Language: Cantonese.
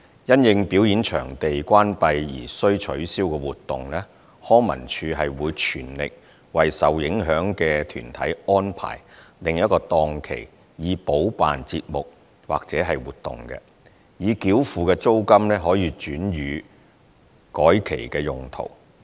因應表演場地關閉而需取消的活動，康文署會全力為受影響的團體安排另一檔期以補辦節目或活動，已繳付的租金可轉予改期用途。